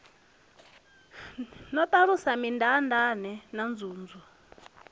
no ṱalusa mindaandaane na nzunzu